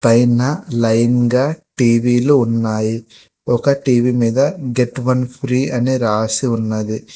పైన లైన్ గా టీ_వీ లు ఉన్నాయి ఒక టీ_వీ మీద గెట్ వన్ ఫ్రీ అని రాసి ఉన్నది.